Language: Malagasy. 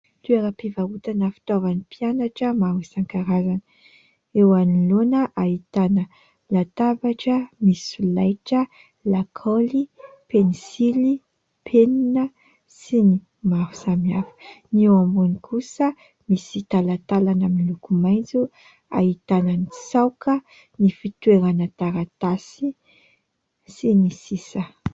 Toeram-pivarotana fitaovan'ny mpianatra maro isan-karazany. Eo anoloana ahitana : latabatra, misy solaitra, lakaoly, pensily, penina sy ny maro samihafa ; ny eo ambony kosa misy talatalana moloko maitso ahitana : ny tsaoka, ny fitoerana taratasy sy ny sisa.